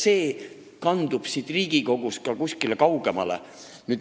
See kandub siit Riigikogust ka kuskile kaugemale.